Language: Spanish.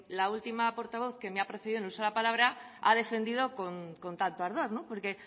la última portavoz que me ha precedido en el uso de la palabra ha defendido con tanto ardor porque